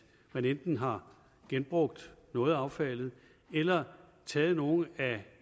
man enten har genbrugt noget af affaldet eller taget nogle af